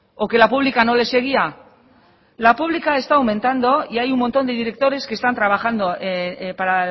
o que la pública no le seguía la pública está aumentando y hay un montón de directores que están trabajando para